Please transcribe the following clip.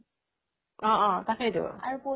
অহ অহ তাকেইটো